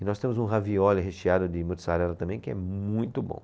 E nós temos um ravioli recheado de mozzarella também que é muito bom.